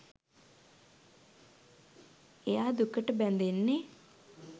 එයා දුකට බැඳෙන්නෙ